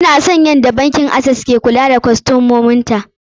Ina son yadda bankin access ke kula da kostomomin ta.